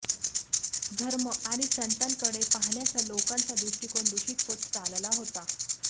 धर्म आणि संतांकडे पाहण्याचा लोकांचा दृष्टिकोन दूषित होत चालला होता